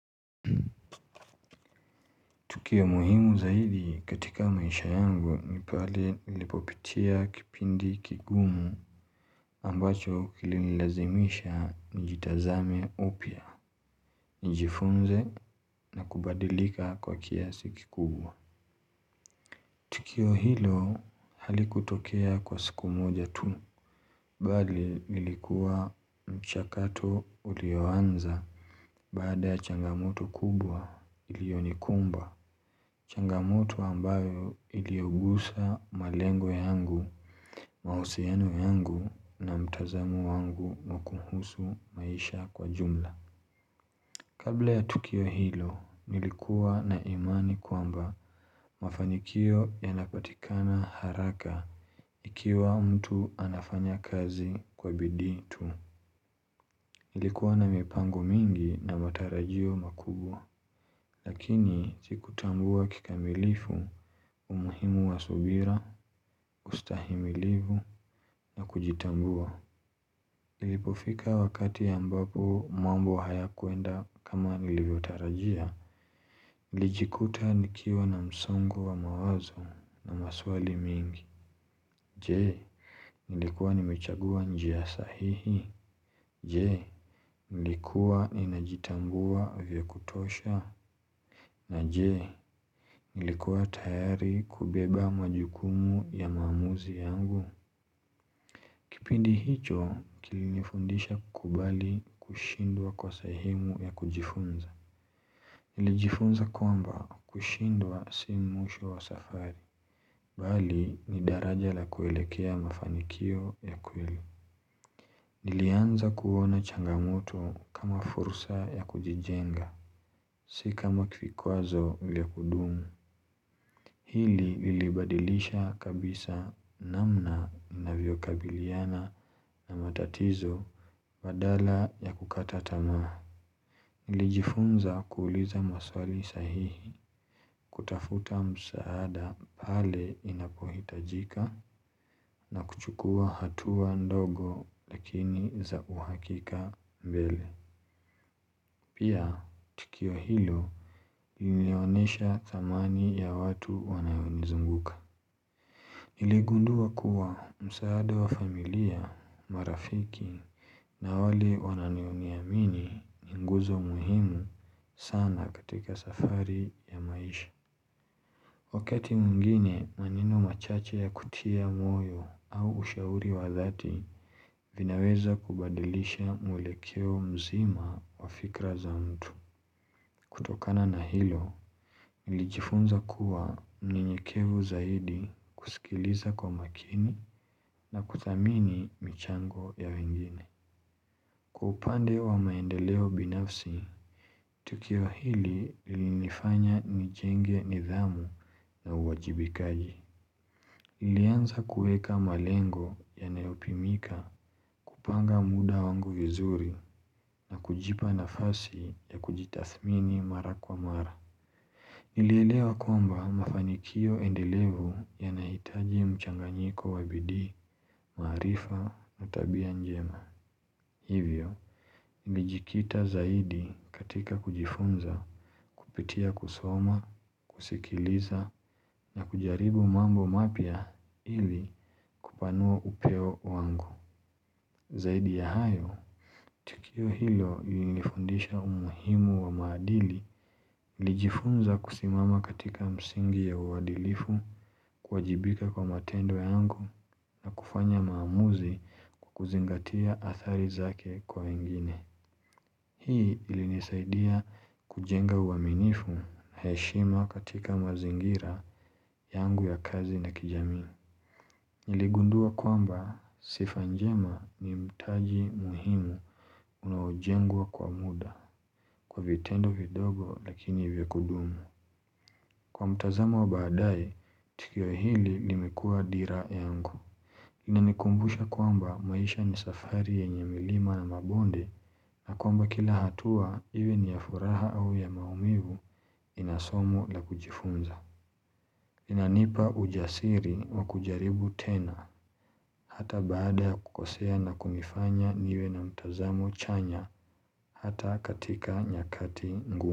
Tukio muhimu zaidi katika maisha yangu nipale ilipopitia kipindi kigumu ambacho kililazimisha njitazame upya, njifunze na kubadilika kwa kiasi kikubwa. Tukio hilo halikutokea kwa siku moja tu, bali ilikuwa mchakato ulioanza baada changamoto kubwa ilionikumba. Changamoto ambayo iliogusa malengo yangu, mahusianu yangu na mtazamu wangu mwakuhusu maisha kwa jumla. Kabla ya tukio hilo, nilikuwa na imani kwamba mafanikio yanapatikana haraka ikiwa mtu anafanya kazi kwa bidii tu. Nilikuwa na mipango mingi na matarajio makubwa, lakini zikutambua kikamilifu umuhimu wa subira, ustahimilivu na kujitambua. Nilipofika wakati ambapo mwambo haya kuenda kama nilivyotarajia. Lijikuta nikiwa na msongo wa mawazo na maswali mingi. Je, nilikuwa ni mechagua njia sahihi? Jee, nilikuwa ni najitambua vya kutosha? Na jee, nilikuwa tayari kubeba majukumu ya maamuzi yangu? Kipindi hicho kilinifundisha kubali kushindwa kwa sahemu ya kujifunza Nilijifunza kwamba kushindwa si mwisho wa safari Bali ni daraja la kuelekea mafanikio ya kweli Nilianza kuwona changamoto kama fursa ya kujijenga Sika makifikwazo vya kudumu Hili ilibadilisha kabisa namna inavyo kabiliana na matatizo badala ya kukata tamaa Ilijifunza kuuliza maswali sahihi kutafuta msaada pale inapohitajika na kuchukua hatua ndogo lakini za uhakika mbele Pia kiyo hilo ilionesha thamani ya watu wanayoni zunguka Nilegundua kuwa msaada wa familia, marafiki na wale wananioni amini ni nguzo muhimu sana katika safari ya maisha wakati mwingine maneno machache ya kutia moyo au ushauri wa dhati vinaweza kubadilisha mwelekeo mzima wa fikra za mtu kutokana na hilo, nilijifunza kuwa mnenyekevu zaidi kusikiliza kwa makini na kutamini michango ya wengine. Kwa upande wa maendeleo binafsi, tukio hili linifanya nijenge nidhamu na uwajibikaji. Ilianza kueka malengo ya neopimika kupanga muda wangu vizuri na kujipa na fasi ya kujitathmini mara kwa mara. Nilelewa kwamba mafanikio endelevu ya naitaji mchanganyiko wabidi, marifa, matabia njema. Hivyo, nilijikita zaidi katika kujifunza kupitia kusoma, kusikiliza, na kujaribu mambo mapya ili kupanua upeo wangu. Zaidi ya hayo, tukio hilo linifundisha umuhimu wa maadili lijifunza kusimama katika msingi ya uwadilifu kwa jibika kwa matendo yangu kufanya maamuzi kukuzingatia athari zake kwa ingine. Hii ilinisaidia kujenga uaminifu na heshima katika mazingira yangu ya kazi na kijami. Niligundua kwamba sifa njema ni mtaji muhimu unawajengwa kwa muda kwa vitendo vidogo lakini vikudumu Kwa mtazama wa baadae tikiwa hili nimekua dira yangu Inanikumbusha kwamba maisha ni safari yenye milima na mabonde na kwamba kila hatua even ya furaha au ya maumivu inasomu la kujifunza Inanipa ujasiri wa kujaribu tena hata baada ya kukosea na kumifanya niwe na mtazamo chanya hata katika nyakati ngumu.